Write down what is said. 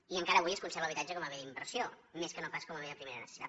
i encara avui es conserva l’habitatge com a bé d’inversió més que no pas com a bé de primera necessitat